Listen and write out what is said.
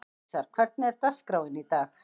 Öxar, hvernig er dagskráin í dag?